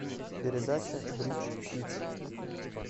передача бридж хитс